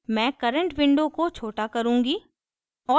मैं current window को छोटा करुँगी